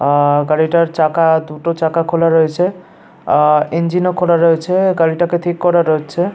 আ গাড়িটার চাকা দুটো চাকা খোলা রয়েছে। আর ইঞ্জিন খোলা রয়েছে। গাড়িটাকে ঠিক করানো হচ্ছে।